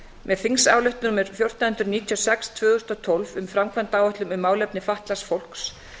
með þingsályktun númer fjórtán hundruð níutíu og sex tvö þúsund og tólf um framkvæmdaáætlun um málefni fatlaðs fólks